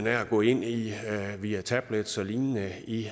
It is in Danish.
at gå ind via tablets og lignende i